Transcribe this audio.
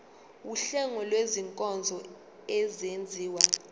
wuhlengo lwezinkonzo ezenziwa